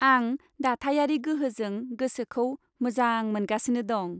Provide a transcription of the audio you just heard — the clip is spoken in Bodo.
आं दाथायारि गोहोजों गोसोखौ मोजां मोनगासिनो दं।